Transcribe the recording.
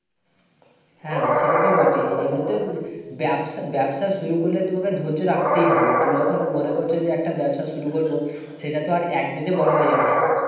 হ্যাঁ, সেটাতো বটেই। এমনিতেও ব্যবস~ব্যবসা শুরু করলে তোমাকে ধৈর্য্য রাখতেই হবে। তুমি যখন মনে করছো একটা ব্যবসা শুরু করবো। সেটা তো একদিনে বড় হয়ে যাবে না।